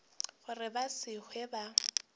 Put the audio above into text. gore ba se hlwe ba